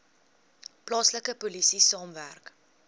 plaaslike polisie saamwerk